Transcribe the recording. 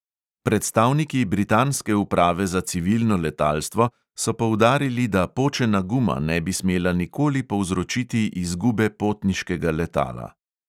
Predstavniki britanske uprave za civilno letalstvo so poudarili, da počena guma ne bi smela nikoli povzročiti izgube potniškega letala.